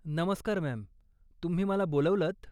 नमस्कार मॅम, तुम्ही मला बोलावलंत?